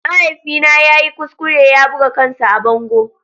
Mahaifina ya yi kuskure ya buga kansa a bango.